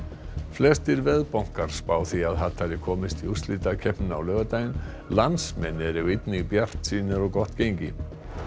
flestir spá því að komist í úrslitakeppnina á laugardaginn landsmenn eru einnig bjartsýnir á gott gengi